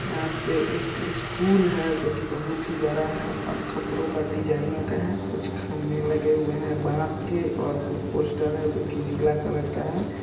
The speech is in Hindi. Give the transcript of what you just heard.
यहां पे एक स्कूल है जो कि बहुत ही बड़ा है और खपड़ो का डिजाइनों का है कुछ खंभे लगे हुए है बांस के और कुछ पोस्टर है जो नीला कलर का है।